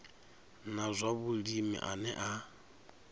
na zwa vhulimi ane a